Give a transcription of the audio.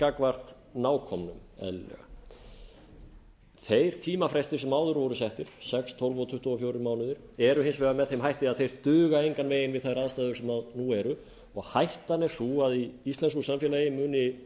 gagnvart nákomnum en þeir tímafrestir sem áður voru settir sex tólf og tuttugu og fjórir mánuðir eru hins vegar með þeim hætti að þeir duga engan veginn við þær aðstæður sem nú eru og hættan er sú að í íslensku samfélagi muni